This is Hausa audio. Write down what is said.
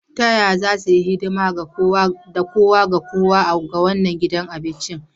Ta yaya za su yi hidima ga kowa da kowa a wannan gidan abincin?